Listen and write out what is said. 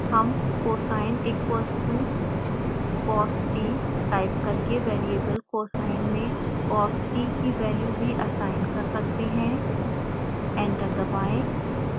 हम cosine equals to cost type करके variable cosine में cost की वेल्यू भी असाइन कर सकते हैं एंटर दबाएं